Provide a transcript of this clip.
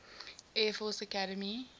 air force academy